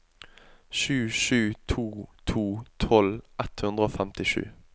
sju sju to to tolv ett hundre og femtisju